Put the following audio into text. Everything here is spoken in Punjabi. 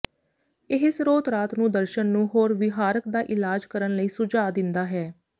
ਇਹ ਸਰੋਤ ਰਾਤ ਨੂੰ ਦਰਸ਼ਨ ਨੂੰ ਹੋਰ ਵਿਹਾਰਕ ਦਾ ਇਲਾਜ ਕਰਨ ਲਈ ਸੁਝਾਅ ਦਿੰਦਾ ਹੈ